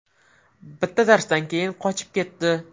Bitta darsdan keyin qochib ketdi.